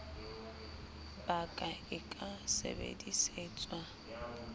ba ka e ka sebedisetswa